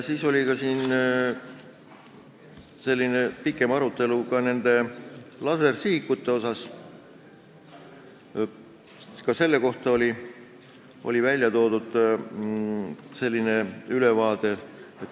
Siis oli pikem arutelu lasersihikute üle, ka nende kohta oli tehtud ülevaade.